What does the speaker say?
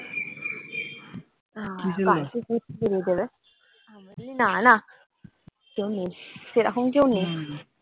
না না কেউ নেই সেরকম কেউ নেই।